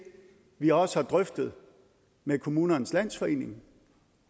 vi også har drøftet med kommunernes landsforening